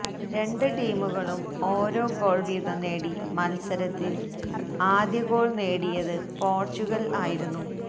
രണ്ട് ടീമുകളും ഓരോ ഗോൾ വീതം നേടി മത്സരത്തിൽ ആദ്യഗോൾ നേടിയത് പോർച്ചുഗൽ ആയിരുന്നു